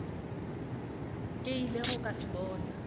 ke ilego ka se bona